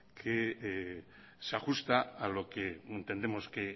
que se ajusta a lo que entendemos que